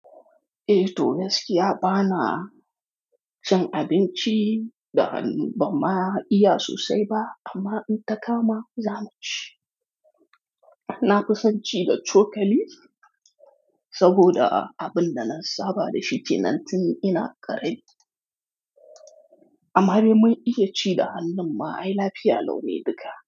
Eh to, gaskiya ba na ci abinci da hannu ban ma iya sosai ba, amma in ta kama zamu ci. Na fi son ci da cokali saboda abunda na saba da shi kenan tin ina karami amma bai mun iya ci da hannun ma, ai lafiya laune duka.